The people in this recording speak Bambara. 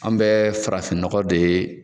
An bɛ farafinnɔgɔ de